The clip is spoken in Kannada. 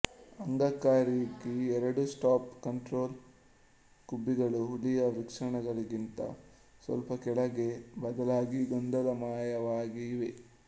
ಅಂಗಕ್ಕಾಗಿ ಎರಡು ಸ್ಟಾಪ್ ಕಂಟ್ರೋಲ್ ಗುಬ್ಬಿಗಳು ಹುಲಿಯ ವೃಷಣಗಳಿಗಿಂತ ಸ್ವಲ್ಪ ಕೆಳಗೆ ಬದಲಾಗಿ ಗೊಂದಲಮಯವಾಗಿ ಇವೆ